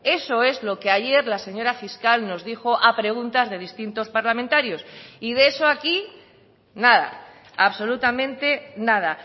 eso es lo que ayer la señora fiscal nos dijo a preguntas de distintos parlamentarios y de eso aquí nada absolutamente nada